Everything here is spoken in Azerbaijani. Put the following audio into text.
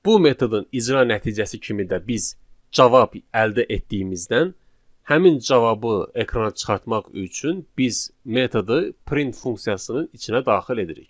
Bu metodun icra nəticəsi kimi də biz cavab əldə etdiyimizdən həmin cavabı ekrana çıxartmaq üçün biz metodu print funksiyasının içinə daxil edirik.